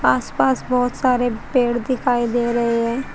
आसपास बहोत सारे पेड़ दिखाई दे रहे हैं।